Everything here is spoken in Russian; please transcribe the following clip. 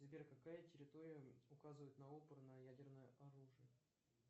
сбер какая территория указывает на опр на ядерное оружие